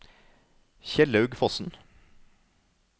Kjellaug Fossen